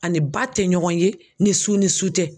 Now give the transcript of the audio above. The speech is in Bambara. A ni ba tɛ ɲɔgɔn ye ni su ni su tɛ.